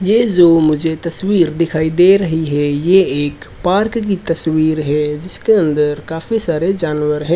ये जो मुझे तस्वीर दिखाई दे रही है ये एक पार्क की तस्वीर है जिसके अंदर काफी सारे जानवर है।